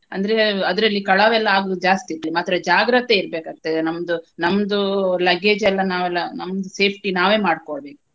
ಅಂದ್ರೆ ಅದ್ರಲ್ಲಿ ಕಳವೆಲ್ಲ ಆಗುದು ಜಾಸ್ತಿ ಇರುತ್ತೆ ಮಾತ್ರ ಜಾಗ್ರತೆ ಇರ್ಬೆಕಾಗ್ತದೆ ನಮ್ದು ನಮ್ದು luggage ಎಲ್ಲಾ ನಾವೆಲ್ಲಾ ನಮ್ದು safety ನಾವೇ ಮಾಡ್ಕೊಬೇಕು.